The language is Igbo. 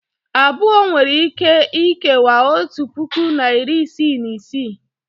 abụọ nwere ike ikewaa otu puku na iri isii na isii